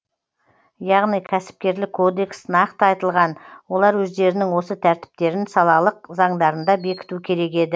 яғни кәсіпкерлік кодекс нақты айтылған олар өздерінің осы тәртіптерін салалық заңдарында бекіту керек еді